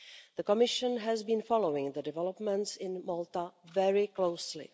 The Commission has been following the developments in Malta very closely.